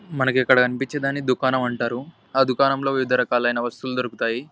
మనకి ఇక్కడ అనిపించిన దాన్ని దుకాణం అంటారు. ఆ దుకాణం లో వివిధ రకాలైన వస్తువులు దొరుకుతాయి.